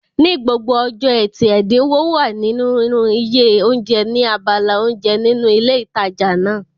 Ní gbogbo ọjọ́ ẹtì, ẹ̀dínwó wà nínú iye oúnjẹ ní abala oúnjẹ nínú ilé ìtajà náà